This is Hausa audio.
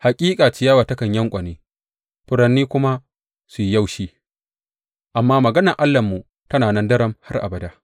Hakika ciyawa takan yanƙwane, furanni kuma su yi yaushi, amma maganar Allahnmu tana nan daram har abada.